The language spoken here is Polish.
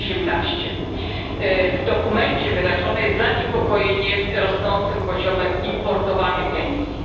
18. W dokumencie wyrażone jest zaniepokojenie rosnącym poziomem importowanych emisji.